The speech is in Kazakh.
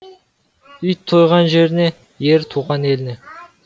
ит тойған жеріне ер туған еліне